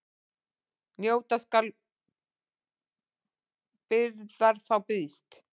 Njóta skal byrjar þá býðst.